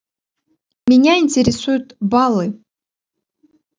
меня интересуют баллы